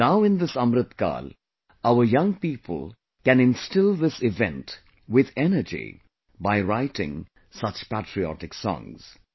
Now in this Amrit kaal, our young people can instill this event with energy by writing such patriotic songs